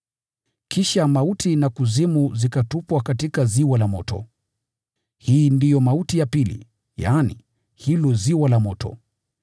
Kisha mauti na Kuzimu zikatupwa katika ziwa la moto. Hii ndio mauti ya pili, yaani, hilo ziwa la moto.